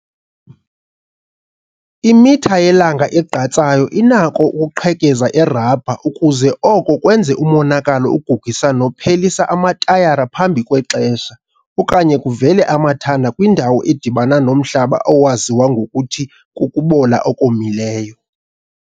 Imitha yelanga egqatsayo inako ukuqhekeza irabha ukuze oko kwenze umonakalo ogugisa nophelisa amatayara phambi kwexesha okanye kuvele amathanda kwindawo edibana nomhlaba owaziwa ngokuthi 'kukubola okomileyo'.